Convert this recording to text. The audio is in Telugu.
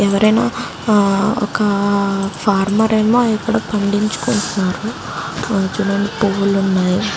ఎవరైనా ఒక ఫార్మర్ ఇక్కడ పండించుకుంటున్నారు పువ్వులు ఉన్నాయ్.